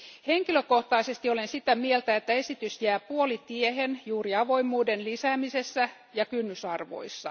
Henkilökohtaisesti olen sitä mieltä, että esitys jää puolitiehen juuri avoimuuden lisäämisessä ja kynnysarvoissa.